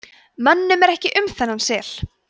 mönnum er ekki um þennan sel